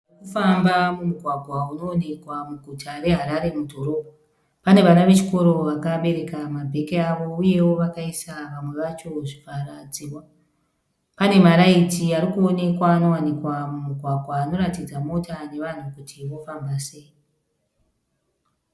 Motokari dziri kufamba mumugwagwa unoonekwa muguta reHarare mudhorobha. Pane vana vechikoro vakabereka mabhegi avo uyewo vakaisa vamwe vacho zvivhara dzihwa . Pane maraiti arikuonekwa anowanikwa mumugwagwa anoratidza mota nevanhu kuti vofamba sei.